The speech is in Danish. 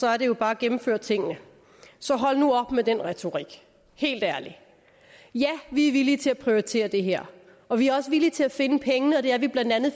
er det jo bare at gennemføre tingene så hold nu op med den retorik helt ærligt ja vi er villige til at prioritere det her og vi er også villige til at finde pengene og det er vi bla